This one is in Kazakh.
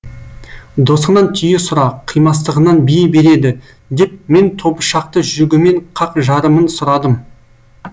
досыңнан түйе сұра қимастығынан бие береді деп мен тобышақты жүгімен қақ жарымын сұрадым